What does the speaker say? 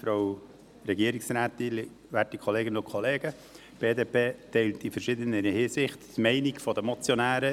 Die BDP teilt in verschiedener Hinsicht die Meinung der Motionäre.